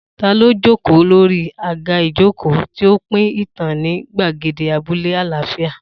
Ta ló jókòó lórí àga ìjókòó, tí ó ń pín ìtàn ní gbàgede abúlé àlàáfíà?